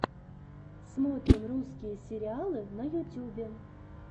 смотрим русские сериалы на ютюбе